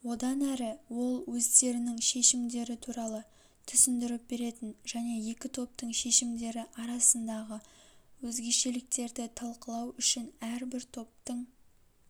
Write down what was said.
одан әрі ол өздерінің шешімдері туралы түсіндіріп беретін және екі топтың шешімдері арасындағы өзгешеліктерді талқылау үшін әрбір топтың